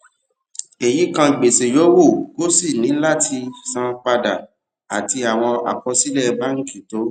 èyí kan gbèsè yòówù kó o ṣì ní láti san padà àti àwọn àkọsílẹ̀ báńkì tó